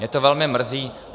Mě to velmi mrzí.